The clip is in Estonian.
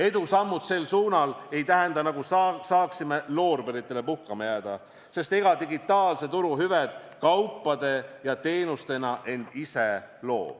Edusammud sel suunal ei tähenda, nagu saaksime loorberitele puhkama jääda, sest ega digitaalse turu hüved kaupade ja teenustena end ise loo.